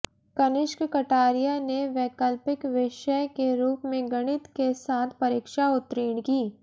कनिष्क कटारिया ने वैकल्पिक विषय के रूप में गणित के साथ परीक्षा उत्तीर्ण की